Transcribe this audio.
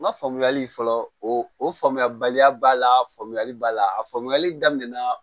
N ka faamuyali fɔlɔ o faamuyabaliya b'a la faamuyali b'a la a faamuyali daminɛna